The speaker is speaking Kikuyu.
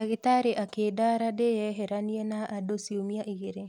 Ndagĩtarĩ akĩndara ndĩyeheranie na andũ ciumia igĩrĩ